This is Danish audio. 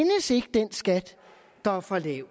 den skat der er for lav